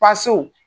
Paso